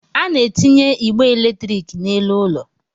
A na-etinye igbe eletrik n'elu ụlọ